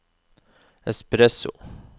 espresso